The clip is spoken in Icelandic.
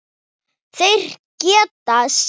Þeir geta synt.